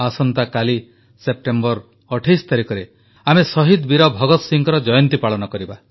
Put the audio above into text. ଆସନ୍ତାକାଲି 28 ସେପ୍ଟେମ୍ବରରେ ଆମେ ଶହୀଦ ବୀର ଭଗତ ସିଂହଙ୍କ ଜୟନ୍ତୀ ପାଳନ କରିବା